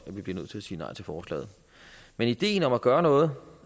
vi bliver nødt til at sige nej til forslaget men ideen om at gøre noget